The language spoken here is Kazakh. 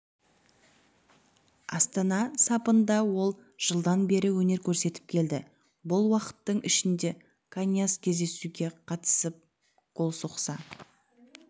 астана сапында ол жылдан бері өнер көрсетіп келді бұл уақыттың ішінде каньяс кездесуге қатысып гол соқса